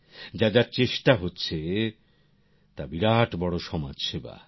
যা যা চেষ্টা হচ্ছে তা বিরাট বড় সমাজ সেবা